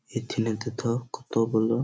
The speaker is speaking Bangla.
এখানে দেথো কত গুলো --